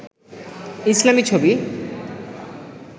ইসলামী ছবি